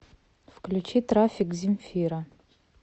включи трафик земфира